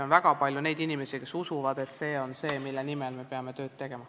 On väga palju inimesi, kes usuvad, et see on see, mille nimel me peame tööd tegema.